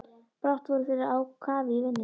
Brátt voru þeir á kafi í vinnunni.